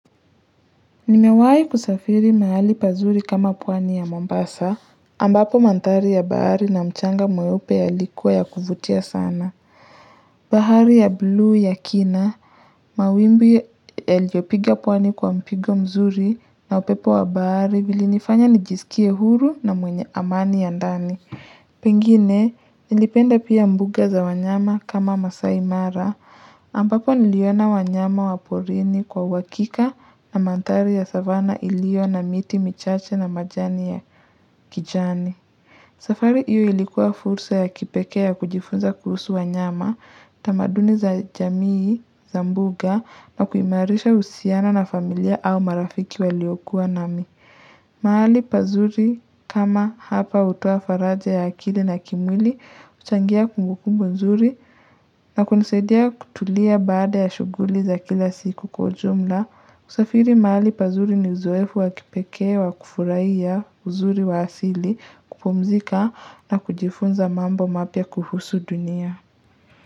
Nimewahi kusafiri mahali pazuri kama pwani ya Mombasa, ambapo mandhari ya bahari na mchanga mweupe yalikuwa ya kuvutia sana. Bahari ya bluu ya kina, mawimbi yaliyopiga pwani kwa mpigo mzuri, na upepo wa bahari vilinifanya nijisikie huru na mwenye amani ya ndani. Pengine, nilipenda pia mbuga za wanyama kama vile Maasai Mara. Ambapo niliona wanyama wa porini kwa uhakika, na mandhari ya savanna iliyokuwa na miti michache na majani ya kijani safari hiyo ilikuwa fursa ya kipekee ya kujifunza kuhusu wanyama tamaduni za jamii za mbugani zilituimarisha, mimi na familia au marafiki waliokuwa nami mahali pazuri kama hapa hutoa faraja ya akili na kimwili, huchangia kumbukumbu nzuri, na kunisaidia kutulia baada ya shughuli za kila siku kwa ujumla. Kusafiri mahali pazuri ni uzoefu wa kipekee wa kufurahia uzuri wa asili kupumzika na kujifunza mambo mapya kuhusu dunia.